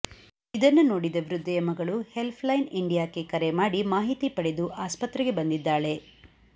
ಇದನ್ನು ನೋಡಿದ ವೃದ್ಧೆಯ ಮಗಳು ಹೆಲ್ಫ್ ಲೈನ್ ಇಂಡಿಯಾಕ್ಕೆ ಕರೆ ಮಾಡಿ ಮಾಹಿತಿ ಪಡೆದು ಆಸ್ಪತ್ರೆಗೆ ಬಂದಿದ್ದಾಳೆ